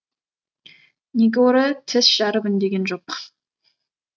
негоро тіс жарып үндеген жоқ